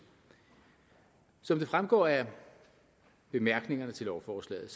som det fremgår af bemærkningerne til lovforslaget